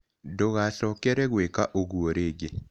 Ndũgacokere gwĩka ũguo rĩngĩ.